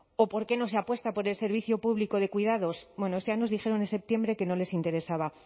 o por qué no se apuesta por el servicio público de cuidados bueno ya nos dijeron en septiembre que no les interesaba